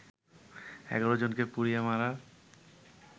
১১ জনকে পুড়িয়ে মারার